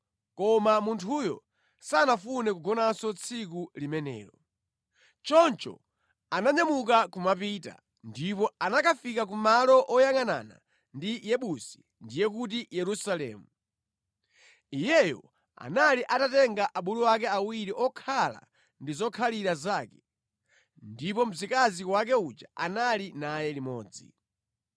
Koma munthuyo sanafune kugonanso tsiku limenelo. Choncho ananyamuka kumapita, ndipo anakafika ku malo oyangʼanana ndi Yebusi (ndiye kuti Yerusalemu). Iyeyo anali atatenga abulu ake awiri okhala ndi zokhalira zake, ndipo mzikazi wake uja anali naye limodzi.